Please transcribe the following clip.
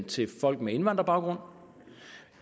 til folk med invandrerbaggrund